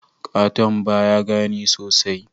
Katung baya gani sosai.